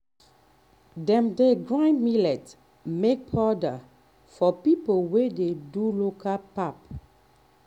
dem dey grind millet make powder for people wey dey do local pap.